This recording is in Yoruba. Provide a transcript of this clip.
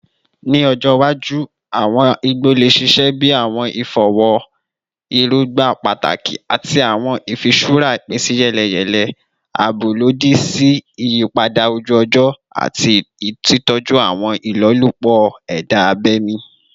Ni ọjọ iwaju, awọn igbo le ṣiṣẹ bi awọn ifọwọ erogba pataki ati awọn ifiṣura ipinsiyeleyele, aabo lodi si iyipada oju-ọjọ ati titọju awọn ilolupo eda abemi.